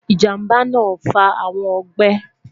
ijamba naa fa awọn ọgbẹ